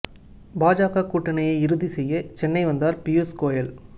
பாஜக கூட்டணியை இறுதி செய்ய சென்னை வந்தார் பியூஷ் கோயல்